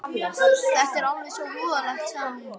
Þetta er alveg svo voðalegt, sagði hún.